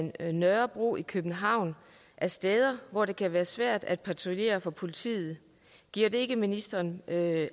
af nørrebro i københavn er steder hvor det kan være svært at patruljere for politiet giver det ikke ministeren